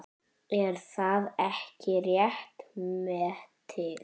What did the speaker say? Er það ekki rétt metið?